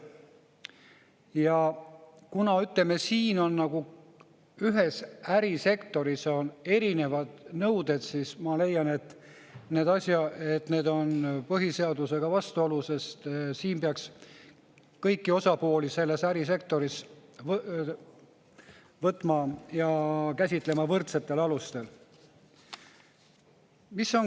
Ja kuna, ütleme, siin on nagu ühes ärisektoris erinevad nõuded, siis ma leian, et need on põhiseadusega vastuolus, sest kõiki osapooli peaks ärisektoris võtma ja käsitlema võrdsetel alustel.